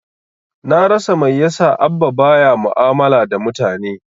Na rasa mai yasa Abba ba ya mu'amala da mutane.